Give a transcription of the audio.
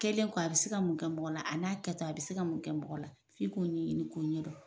Kɛlen ko a bɛ se ka mun kɛ mɔgɔ la an'a kɛtɔ a bɛ se ka mun kɛ mɔgɔ la? F'i k'o ɲɛ ɲini k'o ɲɛ dɔn.